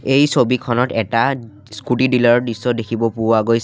এই ছবিখনত এটা স্কুটি ডিলাৰ ৰ দৃশ্য দেখিব পোৱা গৈছ --